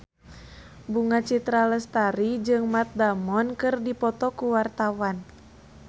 Bunga Citra Lestari jeung Matt Damon keur dipoto ku wartawan